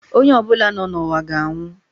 Onye ọ bụla nọ n'ụwa ga-anwụ.